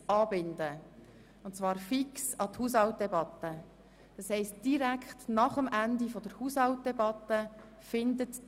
Wir haben entschieden, diese Debatte fix an die Haushaltsdebatte anzubinden.